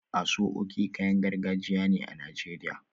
Aso oke kayan gargajiya ne a Najeriya